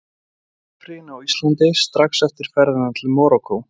Í páskafríinu á Íslandi, strax eftir ferðina til Marokkó.